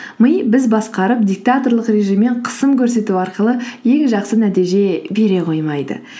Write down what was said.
ми біз басқарып диктаторлық режиммен қысым көрсету арқылы ең жақсы нәтиже бере қоймайды